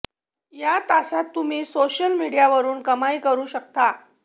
या तासात तुम्ही सोशल मिडियावरून कमाई करू शकता